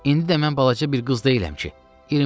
İndi də mən balaca bir qız deyiləm ki.